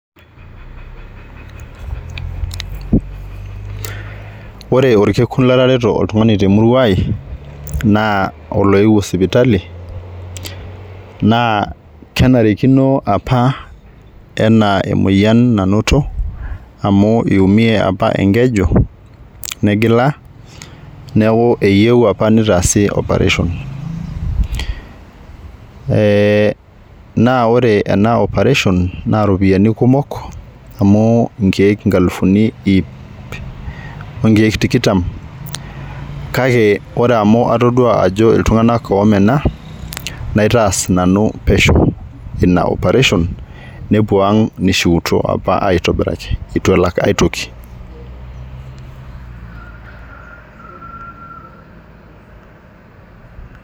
Ore orkekun latareto oltungani temurua ai naa oloewuo sipitali naa kenarikino apa enaa emoyian nanoto amu iumie apa enkeju negila neeku eyieu apa nitaasi operation ee naa ore ena operation naa iropiyiani kumok amu inkiek nkalifuni iip onkiek tikitam , kake ore amu atodua ajo iltunganak omena naitaas nanu pesho ina operation nepuo ang nishiutua apa aitobiraki itu elak aitoki.